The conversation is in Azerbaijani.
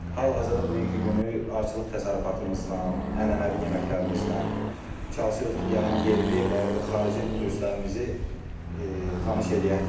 Hal-hazırda bugünkü günü arıçılıq təsərrüfatımızla, ənənəvi yeməklərimizlə çalışırıq ki, gələn yerli və yaxud da xarici turistlərimizi tanış eləyək.